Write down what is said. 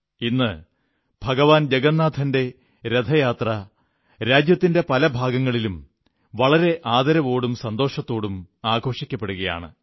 ഇന്ന് ഭഗവാൻ ജഗന്നാഥന്റെ രഥയാത്ര രാജ്യത്തിന്റെ പല ഭാഗങ്ങളിലും വളരെ ആദരവോടും സന്തോഷത്തോടും ആഘോഷിക്കപ്പെടുകയാണ്